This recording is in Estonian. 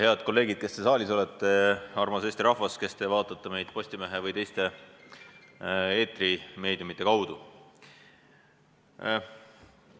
Head kolleegid, kes te saalis olete, armas Eesti rahvas, kes te vaatate meid Postimehe või teiste eetrimeediumite kaudu!